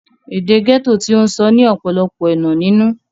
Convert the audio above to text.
èdè gẹ́tò tí ó ń sọ ní ọ̀pọ̀lọpọ̀ ẹ̀nà nínú